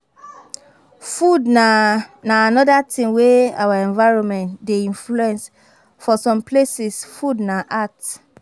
Food na na anoda thing wey our environment dey influence, for some places food na art